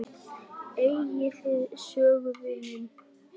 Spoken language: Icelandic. Eigið þið sömu vinina?